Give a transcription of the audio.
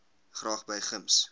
graag by gems